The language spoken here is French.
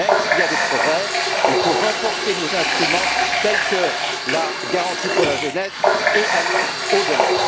Même s'il y a des progrès, il faut renforcer nos instruments, tels que la garantie pour la jeunesse, et aller au delà.